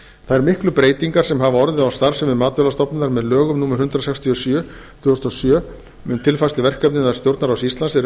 þær miklu breytingar sem hafa orðið á starfsemi matvælastofnunar með lögum númer hundrað sextíu og sjö tvö þúsund og sjö um tilfærslu verkefna innan stjórnarráðs íslands eru